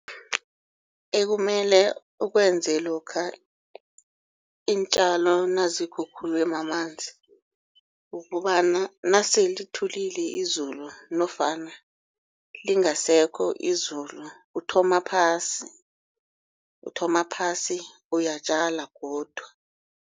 Ekumele ukwenze lokha iintjalo nazikhukhulwe mamanzi. Ukobana nasele lithulile izulu nofana lingasekho izulu uthoma phasi, uthoma phasi uyatjala godu.